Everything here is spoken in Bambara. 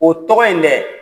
O tɔgɔ in dɛ